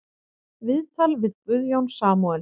Viðtal við Guðjón Samúelsson